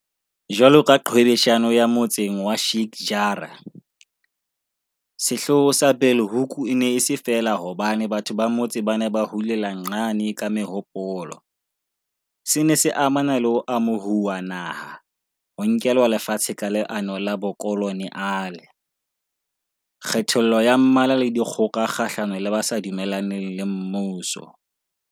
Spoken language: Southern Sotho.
Jwalo ka qhwebeshano ya motseng wa Sheik Jarrah, sehloho sa Bulhoek e ne e se feela hobane batho ba motse ba ne ba hulela nxane ka mehopolo, se ne se amana le ho amohuwa naha, ho nkelwa lefatshe ka leano la bokolo neale, kgethollo ya mmala le dikgoka kgahlano le ba sa dumellaneng le mmuso.